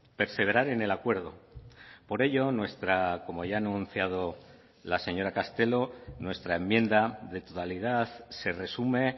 perseverar en el acuerdo por ello como ya ha anunciado la señora castelo nuestra enmienda de totalidad se resume